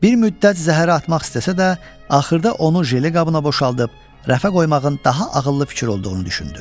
Bir müddət zəhərə atmaq istəsə də, axırda onu jeli qabına boşaldıb rəfə qoymağın daha ağıllı fikir olduğunu düşündü.